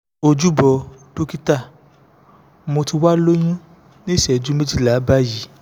ojúbọ̀ dókítà mo ti wà lóyún ní ìṣẹ́jú méjìlá báyìí